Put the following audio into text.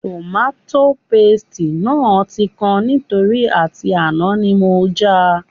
Tòmátò pasìtì náà tí kan nítorí àti àná ni mo já a